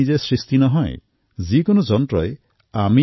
আমি বিচৰা ধৰণেই যিকোনো যন্ত্ৰই কাম কৰিব